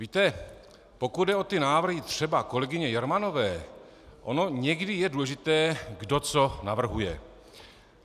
Víte, pokud jde o ty návrhy třeba kolegyně Jermanové, ono někdy je důležité, kdo co navrhuje.